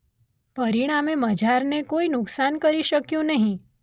પરિણામે મઝારને કોઈ નુકસાન કરી શકયું નહી.